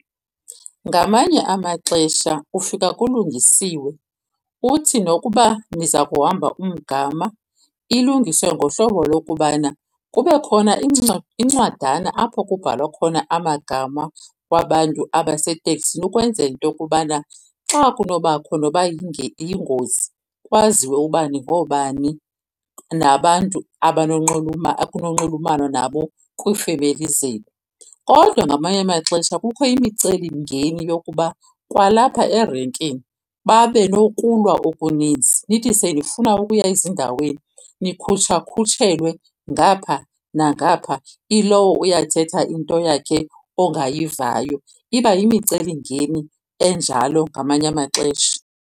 Ngamanye amaxesha ufika kulungisiwe, uthi nokuba niza kuhamba umgama ilungiswe ngohlobo lokubana kube khona incwadana apho kubhalwa khona amagama wabantu abaseteksini, ukwenzela into yokubana xa kunobakho noba yingozi kwaziwe uba ningoobani nabantu okunonxulumanwa nabo kwiifemeli zenu. Kodwa ngamanye amaxesha kukho imicelimngeni yokuba kwalapha erenkini babe nokulwa okuninzi, nithi senifuna ukuya ezindaweni nikhutshakhutshelwe ngapha nangapha, ilowo uyathetha into yakhe ongayivayo. Iba yimicelimngeni enjalo ngamanye amaxesha.